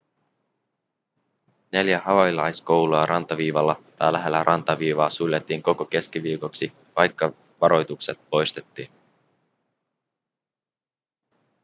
neljä havaijilaiskoulua rantaviivalla tai lähellä rantaviivaa suljettiin koko keskiviikoksi vaikka varoitukset poistettiin